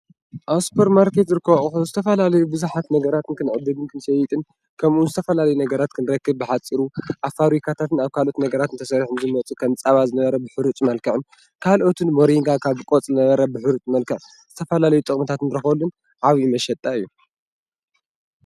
ኣብ ሱፖርማርኬት ዝርከቡ ኣቁሑት ዝተፈላለዩ ቡዙሓት ነገራት ክንዕድግን ክንሸይጥን ከምኡውን ዝተፈላለዩ ነገራት ክንረክብ በሓፂሩ ኣብ ፋብሪካታት ካልኦት ነገራትን ተሰሪሑ ንክመፅእ ። ከም ፃባ ዝነበረ ብሑሩጭ መልክዑ ካልኦት ምሪንጋ ብቆፅሊ ዝነበረ ብሕሩጭ መልክዕ ዝተፈላለዩ ጥቅሚታት ንረክበሉ መሸጣ እዩ፡፡